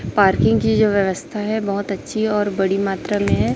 Parking की जो व्यवस्था हैं बहोत अच्छी और बड़ी मात्रा में हैं।